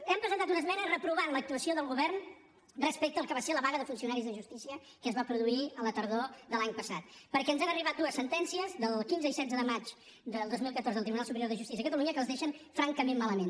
hem presentat una esmena per reprovar l’actuació del govern respecte al que va ser la vaga de funcionaris de justícia que es va produir a la tardor de l’any passat perquè ens han arribat dues sentències del quinze i setze de maig del dos mil catorze del tribunal superior de justícia de catalunya que els deixen francament malament